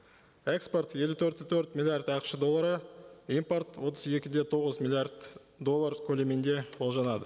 экспорт елу төрт те төрт миллиард ақш доллары импорт отыз екі де тоғыз миллиард доллар көлемінде болжанады